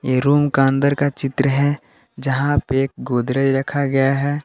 इ रूम का अंदर का चित्र है जहां पे एक गोदरेज रखा गया है।